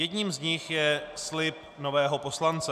Jedním z nich je slib nového poslance.